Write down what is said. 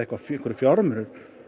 einhverjir fjármunir